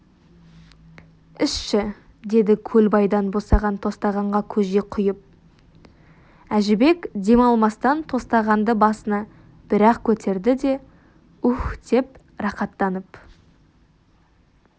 ішші деді көлбайдан босаған тостағанға көже құйып әжібек дем алмастан тостағанды басына бір-ақ көтерді де уһ деді рақаттанып